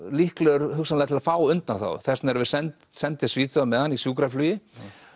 líklegur hugsanlega til að fá undanþágu þess vegna erum við send send til Svíþjóðar með hann í sjúkraflugi